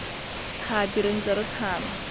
tlhapi re ntse re tshaba